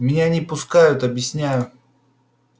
меня не пускают объясняю